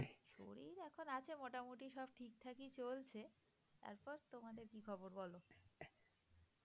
শরীর এখন আছে মোটামোটি সব ঠিকঠাকই চলছে তারপর তোমাদের কি খবর বলো?